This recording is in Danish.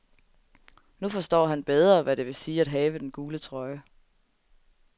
Nu forstår han bedre, hvad det vil sige at have den gule trøje.